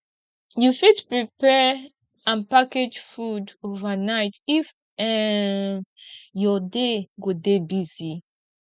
you fit prepare and package food overnight if um your day go dey busy